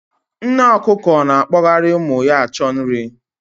Nne ọkụkọ na-akpọgharị ụmụ ya achọ nri.